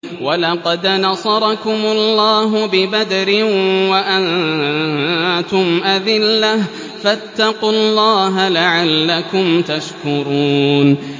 وَلَقَدْ نَصَرَكُمُ اللَّهُ بِبَدْرٍ وَأَنتُمْ أَذِلَّةٌ ۖ فَاتَّقُوا اللَّهَ لَعَلَّكُمْ تَشْكُرُونَ